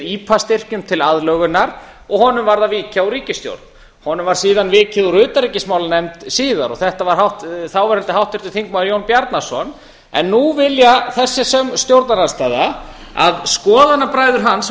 ipa styrkjum til aðlögunar og honum varð að víkja úr ríkisstjórn honum var síðan vikið úr utanríkismálanefnd síðar þetta var háttvirtur þáverandi þingmaður jón bjarnason en nú vill þessi stjórnarandstaða að skoðanabræður hans